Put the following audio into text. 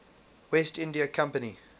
west india company